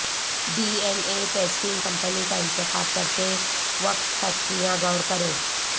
D N A testing company کا انتخاب کرتے وقت فیکٹریاں غور کریں